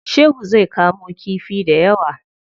Shehu zai kamo kifi dayawa.